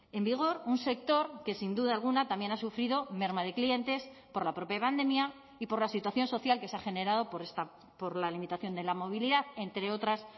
en vigor un sector que sin duda alguna también ha sufrido merma de clientes por la propia pandemia y por la situación social que se ha generado por la limitación de la movilidad entre otras